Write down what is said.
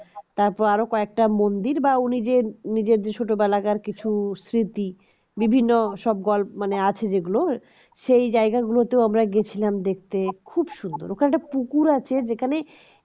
তারপরে আরো কয়েকটা মন্দির বা উনি যে নিজের যে ছোটবেলাকার কিছু স্মৃতি বিভিন্ন সব গল্প মানে আছে যেগুলো সেই জায়গাগুলোতে আমরা গেছিলাম দেখতে খুব সুন্দর ওখানে একটা পুকুর আছে যেখানে